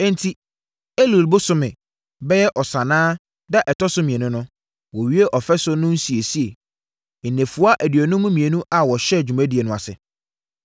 Enti, Elul bosome (bɛyɛ Ɔsannaa) da a ɛtɔ so mmienu no, wɔwiee ɔfasuo no nsiesie, nnafua aduonum mmienu a wɔhyɛɛ dwumadie no ase.